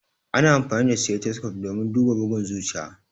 Ana amfani da stethoscope domin duba bugun zuciya.